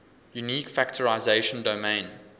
unique factorization domain